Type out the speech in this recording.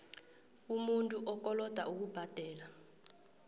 umuntu okoloda ukubhadela